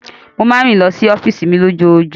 Mo máa ń rìn lọ sí ọ́fíìsì mi lójoojúmọ́.